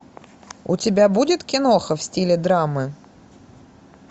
у тебя будет киноха в стиле драмы